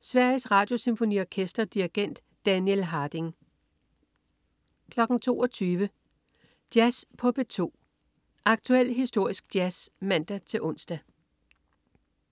Sveriges Radiosymfoniorkester. Dirigent: Daniel Harding 22.00 Jazz på P2. Aktuel som historisk jazz (man-ons)